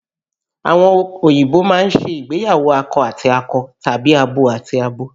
Àwọn òyìnbó máa ń ṣe ìgbéyàwó akọ àti akọ tàbí abo àti abo